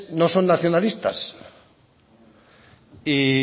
no son nacionalistas y